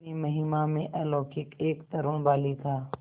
अपनी महिमा में अलौकिक एक तरूण बालिका